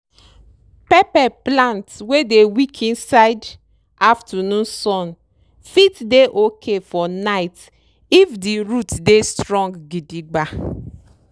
pepper plant wey dey weak inside aftanoon sun fit dey oki for night if di root dey strong gidigba.